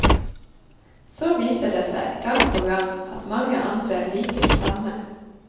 Så viser det seg, gang på gang, at mange andre liker det samme.